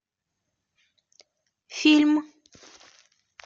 фильм